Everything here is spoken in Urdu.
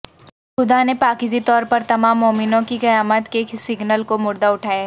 خدا نے پاکیزی طور پر تمام مومنوں کی قیامت کے سگنل کو مردہ اٹھایا